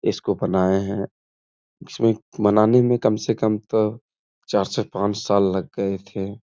इसको बनाये हैं जिसमे बनाने मे कम से कम तो चार से पांच साल लग गये थे।